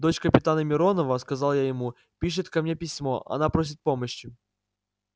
дочь капитана миронова сказал я ему пишет ко мне письмо она просит помощи